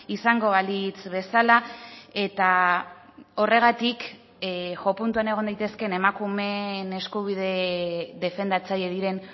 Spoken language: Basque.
izango balitz bezala eta horregatik jo puntuan egon daitezkeen emakumeen eskubide defendatzaile diren